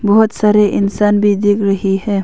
बहोत सारे इंसान भी दिख रही है।